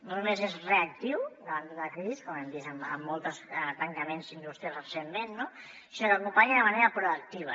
no només és reactiu davant d’una crisi com hem vist en molts tancaments industrials recentment no sinó que acompanya de manera proactiva